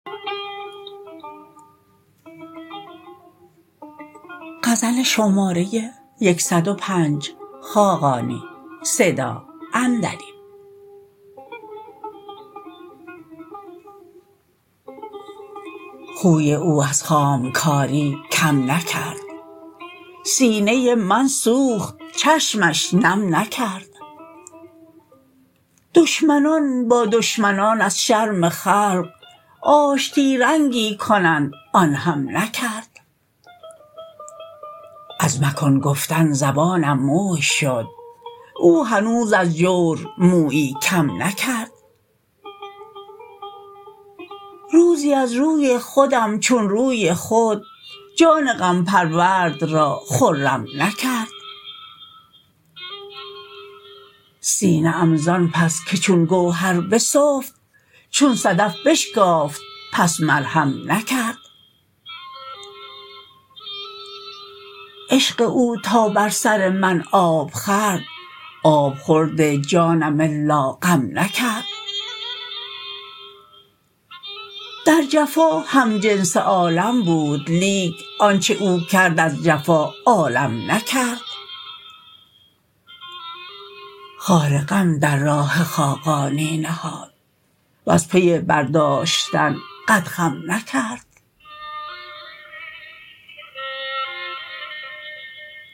خوی او از خام کاری کم نکرد سینه من سوخت چشمش نم نکرد دشمنان با دشمنان از شرم خلق آشتی رنگی کنند آن هم نکرد از مکن گفتن زبانم موی شد او هنوز از جور مویی کم نکرد روزی از روی خودم چون روی خود جان غم پرورد را خرم نکرد سینه ام زان پس که چون گوهر بسفت چون صدف بشکافت پس مرهم نکرد عشق او تا بر سر من آب خورد آب خورد جانم الا غم نکرد در جفا همجنس عالم بود لیک آنچه او کرد از جفا عالم نکرد خار غم در راه خاقانی نهاد وز پی برداشتن قد خم نکرد